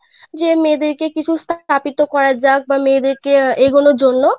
যে মেয়েদের কিছু স্থাপিত করা যাক বা মেয়েদের কে এগোনোর জন্য.